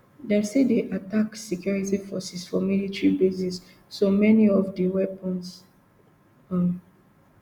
dem still dey attack security forces for military bases so many of di weapons um